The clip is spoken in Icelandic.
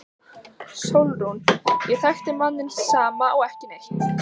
SÓLRÚN: Ég þekki manninn sama og ekki neitt.